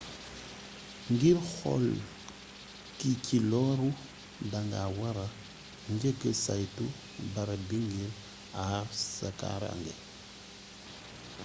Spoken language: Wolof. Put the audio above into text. ngir xool ki ci lóru da nga wara njëkka saytu barab bi ngir àar sa kaarànge